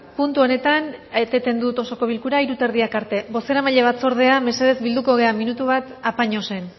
puntu honetan eteten dut osoko bilkura hiru eta erdiak arte bozeramaile batzordea mesedez bilduko gara minutu bat apañosen